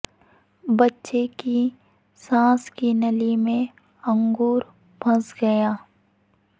بچے کی سانس کی نالی میں انگور پھنس گیا